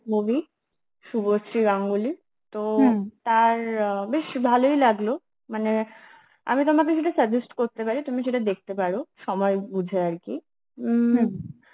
movie, Subhashree Ganguly তার বেশ ভালই লাগলো, মানে, আমি তোমাকে সেটা suggest করতে পারি, তুমি সেটা দেখতে পারো সময় বুঝে আরকি